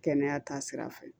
Kɛnɛya taa sira fɛ